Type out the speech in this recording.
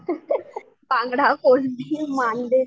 बांगडा, कोळंबी,